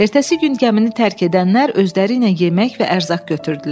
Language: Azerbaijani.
Ertəsi gün gəmini tərk edənlər özləri ilə yemək və ərzaq götürdülər.